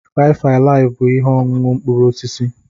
Faifụ alifụ bụ ihe ọṅụṅụ mkpụrụ osisi.